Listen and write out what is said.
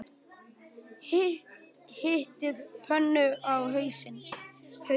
Hitið pönnu á háum hita.